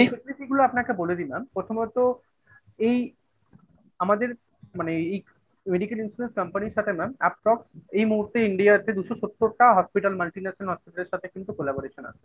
facility গুলো আপনাকে বলে দিলাম প্রথমত এই আমাদের মানে এই Medical Insurance Company র সাথে mam Approx. এই মুহূর্তে ইন্ডিয়াতে দুশো-সত্তরটা Hospital Multinational Hospital র সাথে কিন্তু collaboration আছে।